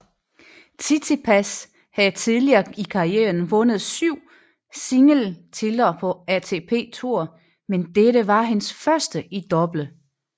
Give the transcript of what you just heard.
Tsitsipas havde tidligere i karrieren vundet syv singletitler på ATP Tour men dette var hans første i double